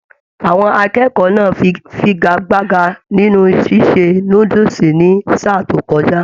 Àwọn akẹ́kọ̀ọ́ náà fígagbágà nínú ṣíṣe núdúsí ní sáà to kọjá.